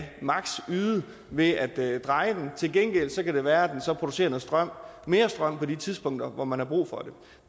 yde ved at dreje den til gengæld kan det være at den så producerer mere strøm mere strøm på de tidspunkter hvor man har brug for det